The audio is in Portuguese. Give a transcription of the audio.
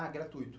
Ah, gratuito?